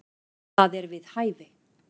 Það er við hæfi.